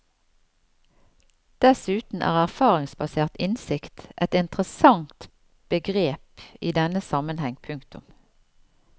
Dessuten er erfaringsbasert innsikt et interessant begrep i denne sammenheng. punktum